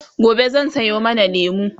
gobe zan Sayo mana lemu